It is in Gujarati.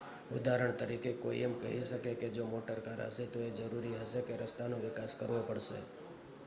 ઉદાહરણ તરીકે કોઈ એમ કહી શકે કે જો મોટર કાર હશે તો એ જરૂરી હશે કે રસ્તાનો વિકાસ કરવો પડશે